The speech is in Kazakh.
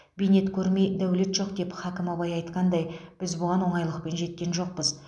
бейнет көрмей дәулет жоқ деп хәкім абай айтқандай біз бұған оңайлықпен жеткен жоқпыз